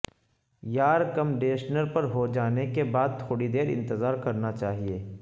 یارکمڈیشنر پر ہوجانے کے بعد تھوڑی دیر انتظار کرنا چاہیئے